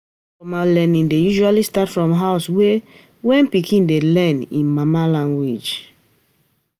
Informal learning dey usually start from house, like when pikin dey learn im mama language